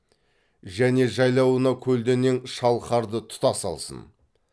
және жайлауына көлденең шалқарды тұтас алсын